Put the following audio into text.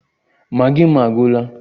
Maggi m agwụla